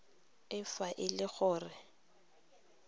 e fa e le gore